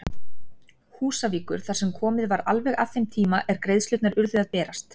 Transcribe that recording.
Húsavíkur þar sem komið var alveg að þeim tíma er greiðslurnar urðu að berast.